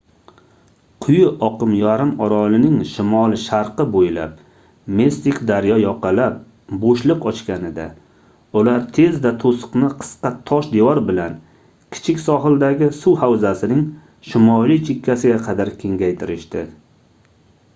quyi oqim yarimorolning shimoli-sharqi boʻylab mistik daryo yoqalab boʻshliq ochganida ular tezda toʻsiqni qisqa tosh devor bilan kichik sohildagi suv havzasining shimoliy chekkasiga qadar kengaytirishdi